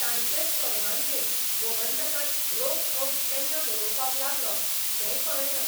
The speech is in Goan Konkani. तांचेच परवानगेन गोमंतकां'त रोखठोक केन्ना बरोवपाक लागलों तेंय कळें ना.